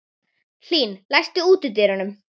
Hlín, læstu útidyrunum.